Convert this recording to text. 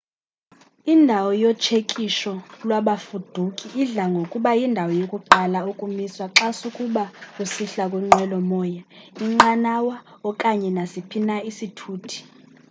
indawo yotshekisho lwabafuduki idla ngokuba yindawo yokuqala ukumiswa xa sukuba usihla kwinqwelo moya inqanawa okanye nasiphi na isithuthi